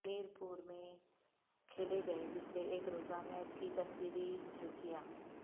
میرپور میں کھیلے گئے دوسرے ایک روزہ میچ کی تصویری جھلکیاں